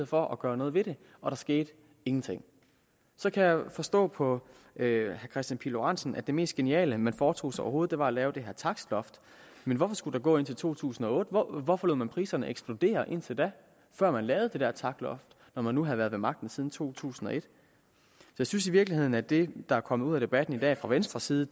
for at gøre noget ved det og der skete ingenting så kan jeg forstå på herre kristian pihl lorentzen at det mest geniale man foretog sig overhovedet var at lave det her takstloft men hvorfor skulle der gå indtil 2008 hvorfor lod man priserne eksplodere indtil da før man lavede det der takstloft når man nu havde været ved magten siden 2001 jeg synes i virkeligheden at det der er kommet ud af debatten i dag fra venstres side